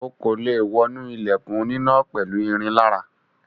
O kò lè wọnú ilẹ̀kùn oníná pẹ̀lú irin lára.